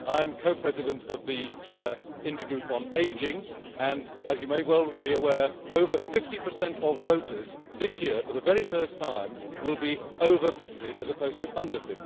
I am Co President of the Intergroup on Ageing, and, as you may be aware, over 50 of voters this year for the very first time will be over 50 as opposed to under